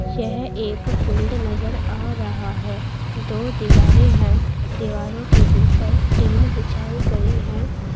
यह एक फील्ड नजर आ रहा है दो दीवारें हैं दीवारों के ऊपर टीन बिछाई गई है।